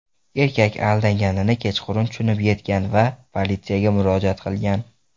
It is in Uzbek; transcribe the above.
Erkak aldanganini kechqurun tushunib yetgan va politsiyaga murojaat qilgan.